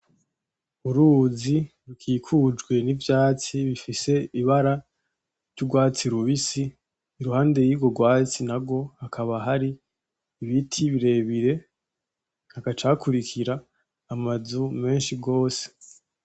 uruzi rukikujwe n'ivyatsi n'ibiti bifise ibara ry'urwatsi rubisi iruhande y'urwo rwatsi narwo hakaba hari ibiti birebire hagaca hakurikira amazu meshi gose.